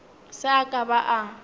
se a ka a ba